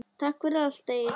Takk fyrir allt, Egill.